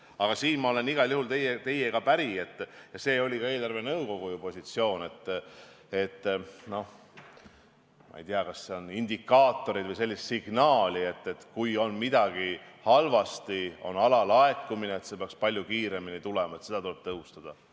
Aga siin ma olen igal juhul teiega päri ja see oli ka eelarvenõukogu positsioon, selline indikaator või signaal, et kui midagi halvasti, näiteks on alalaekumine, siis see peaks tulema palju kiiremini, seda tuleb tõhustada.